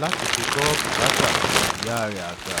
láti fi gbọ bùkátà ìyá rẹ àgbà